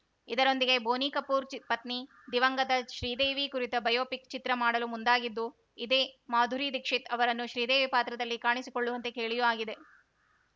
ಇದರೊಂದಿಗೆ ಬೋನಿ ಕಪೂರ್‌ ಚಿ ಪತ್ನಿ ದಿವಂಗತ ಶ್ರೀದೇವಿ ಕುರಿತ ಬಯೋಪಿಕ್‌ ಚಿತ್ರ ಮಾಡಲು ಮುಂದಾಗಿದ್ದು ಇದೇ ಮಾಧುರಿ ದೀಕ್ಷಿತ್‌ ಅವರನ್ನು ಶ್ರೀದೇವಿ ಪಾತ್ರದಲ್ಲಿ ಕಾಣಿಸಿಕೊಳ್ಳುವಂತೆ ಕೇಳಿಯೂ ಆಗಿದೆ